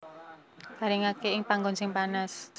Garingaké ing panggon sing panas